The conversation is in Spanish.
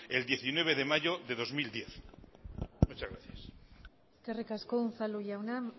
el diecinueve de mayo de dos mil diez muchas gracias eskerrik asko unzalu jauna